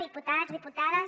diputats diputades